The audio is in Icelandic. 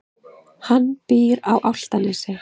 Hann býr á Álftanesi.